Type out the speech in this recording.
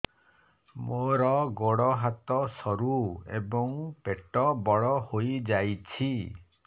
ମୋର ଗୋଡ ହାତ ସରୁ ଏବଂ ପେଟ ବଡ଼ ହୋଇଯାଇଛି